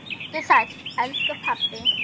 Vertu sæll, elsku pabbi.